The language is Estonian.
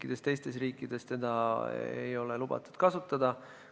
Üheski teises riigis ei ole lubatud seda kasutada.